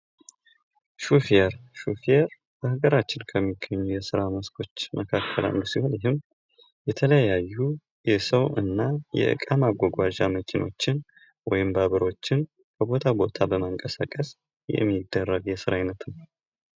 ሥራ የሰው ልጅ የዕለት ተዕለት እንቅስቃሴ አካል ሲሆን የገቢ ምንጭ ከመሆን ባለፈ ለግል እድገትና ለማህበረሰብ ተሳትፎ ወሳኝ ነው።